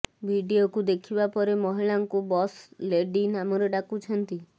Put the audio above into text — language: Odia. ଭିଡିଓକୁ ଦେଖିବା ପରେ ମହିଳାଙ୍କୁ ବସ୍ ଲେଡି ନାମରେ ଡାକୁଛନ୍ତି